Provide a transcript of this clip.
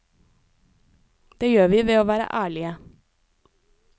Det gjør vi ved å være ærlige.